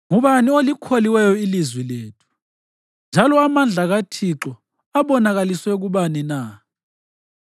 Ngubani olikholiweyo ilizwi lethu, njalo amandla kaThixo abonakaliswe kubani na?